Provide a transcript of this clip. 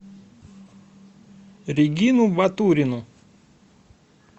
регину батурину